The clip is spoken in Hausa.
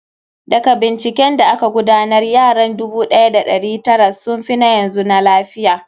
Daga binciken da aka gudanar, yaran 1900s sun fi na yanzu na lafiya.